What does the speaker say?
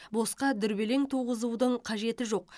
босқа дүрбелең туғызудың қажеті жоқ